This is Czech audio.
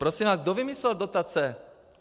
Prosím vás, kdo vymyslel dotace?